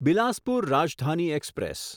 Bilaspur Rajdhani express